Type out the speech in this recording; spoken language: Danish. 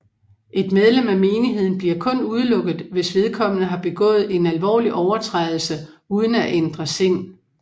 Et medlem af menigheden bliver kun udelukket hvis vedkommende har begået en alvorlig overtrædelse uden at ændre sind